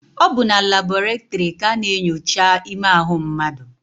Ọ bụ na labọretịrị ka a na-enyocha ime ahụ mmadụ.